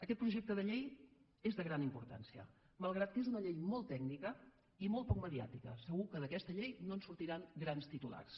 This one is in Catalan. aquest projecte de llei és de gran importància malgrat que és una llei molt tècnica i molt poc mediàtica segur que d’aquesta llei no en sortiran grans titulars